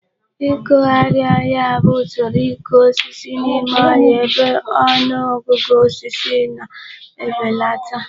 Ịkụgharị ọhịa bụ usoro ịkụ osisi n'ime ọhịa ebe ọnụ ọgụgụ osisi na-ebelata.